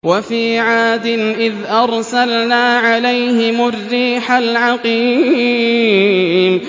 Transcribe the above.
وَفِي عَادٍ إِذْ أَرْسَلْنَا عَلَيْهِمُ الرِّيحَ الْعَقِيمَ